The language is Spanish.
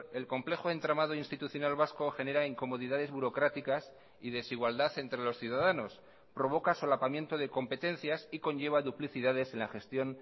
el complejo entramado institucional vasco genera incomodidades burocráticas y desigualdad entre los ciudadanos provoca solapamiento de competencias y conlleva duplicidades en la gestión